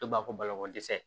Dɔw b'a fɔ balo ko dɛsɛ